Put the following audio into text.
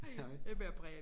Hej jeg bærer præg af